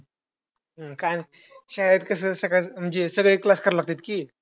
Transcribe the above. काय शाळेत कसं सगळेच class करावे लागतात कि.